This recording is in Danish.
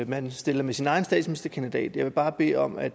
man stiller med sin egen statsministerkandidat jeg vil bare bede om at